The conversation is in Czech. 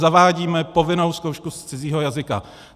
Zavádíme povinnou zkoušku z cizího jazyka.